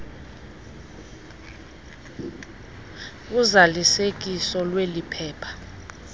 uzalisekiso lweli phepha